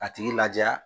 A tigi laja